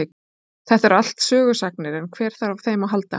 Þetta eru allt sögusagnir en hver þarf á þeim að halda.